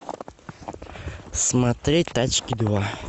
смотреть тачки два